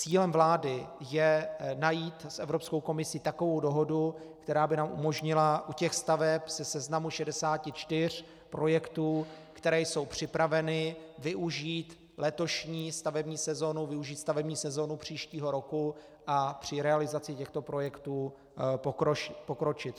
Cílem vlády je najít s Evropskou komisí takovou dohodu, která by nám umožnila u těch staveb ze seznamu 64 projektů, které jsou připraveny, využít letošní stavební sezonu, využít stavební sezonu příštího roku a při realizaci těchto projektu pokročit.